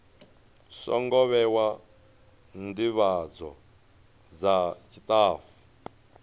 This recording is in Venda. songo vhewa ndivhadzo dza tshitafu